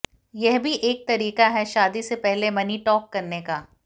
यह भी एक तरीका है शादी से पहले मनी टॉक करने का